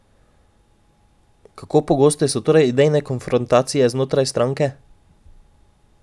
Kako pogoste so torej idejne konfrontacije znotraj stranke?